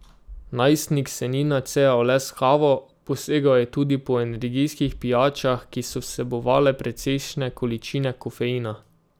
Najstnik se ni nacejal le s kavo, posegal je tudi po energijskih pijačah, ki so vsebovale precejšne količine kofeina.